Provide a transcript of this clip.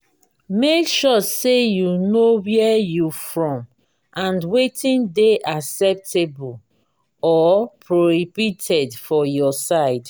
make sure say you know where you from and wetin de acceptable or prohibited for your side